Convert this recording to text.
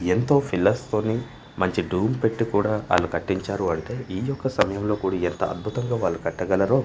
ఎంతో ఫిల్లర్స్ మంచి ధూమ్ పెట్టికూడ ఆళ్ళు కట్టించారు అంటే ఈ యొక్క సమయంలో కూడి ఎంత అద్భుతంగా వాళ్ళు కట్టగలరో--